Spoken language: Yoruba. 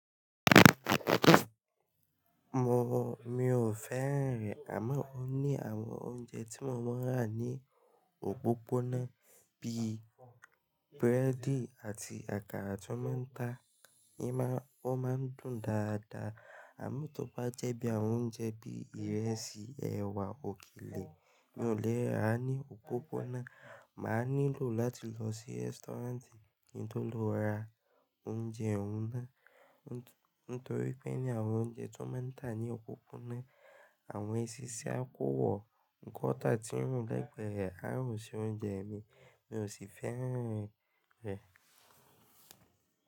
Mo, mi ò fẹ́ rẹ̀, àmọ́ ó ní àwọn oúnjẹ tí mo mọ̀ rá ní òpópónà bíi búrẹ́dì àti àkàrà tó máa ń ta. Ní ma-- ó máa ń dùn dáadáa, àmọ́ tó bá jẹ́ bí àwọn oúnjẹ bí ìrẹsì, ẹ̀wà, òkelè mi ò lè rà á ní òpópónà. Mà á nílò láti lọ sí restaurant ní tó lọ ra oúnjẹ òun náà. Nítorí pé ní àwọn oúnjẹ tó máa ń ta ní òpópónà, àwọn eṣinṣin á kówọ̀, kan tá tí rùn lẹ́gbẹ́ẹ̀rẹ́ á rùn sí oúnjẹ mi, mi ò sì fẹ́ rẹ̀, rẹ̀.